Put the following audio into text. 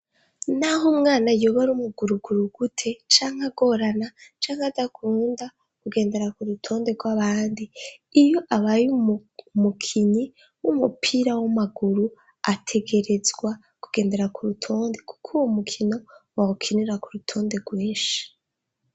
Naho umwana yoba ari umuguruguru gute canke agorana canke adakunda kugendera ku rutonde rw'abandi iyo abaye umukinyi w'umupira w'amaguru ategerezwa kugendera ku rutonde kuko uwo mukino bawukinira ku rutonde rwinshi.